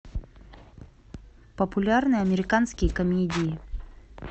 популярные американские комедии